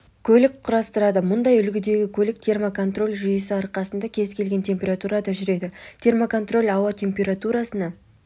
көлік құрастырады мұндай үлгідегі көлік термоконтроль жүйесінің арқасында кез келген температурада жүреді термоконтроль ауа температурасына